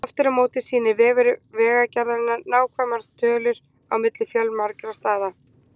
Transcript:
Aftur á móti sýnir vefur Vegagerðarinnar nákvæmar tölur á milli fjölmargra staða.